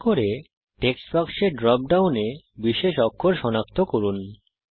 দয়া করে টেক্সট বাক্সের ড্রপ ডাউন এ বিশেষ অক্ষর সনাক্ত করুন